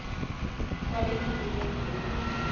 kwale mini yengcubhe